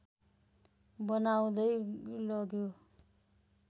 बनाउँदै लग्यो